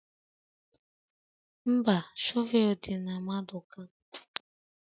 Mba, shọvel dị na maduka